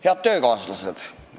Head töökaaslased!